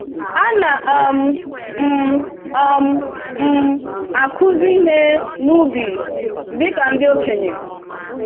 Ana um m um m akuzi ihe n'ubi ka ndị okenye.